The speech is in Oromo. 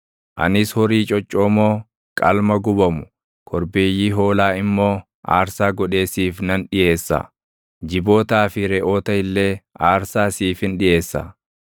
Anis horii coccoomoo, qalma gubamu, korbeeyyii hoolaa immoo aarsaa godhee siif nan dhiʼeessa; jibootaa fi reʼoota illee aarsaa siifin dhiʼeessa.